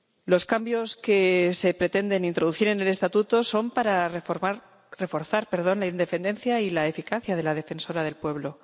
Los cambios que se pretende introducir en el Estatuto son para reforzar la independencia y la eficacia de la Defensoría del Pueblo.